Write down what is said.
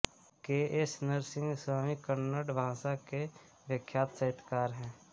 के एस नरसिंह स्वामी कन्नड़ भाषा के विख्यात साहित्यकार हैं